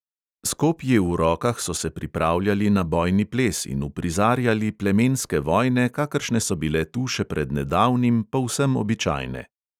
S kopji v rokah so se pripravljali na bojni ples in uprizarjali plemenske vojne, kakršne so bile tu še pred nedavnim povsem običajne.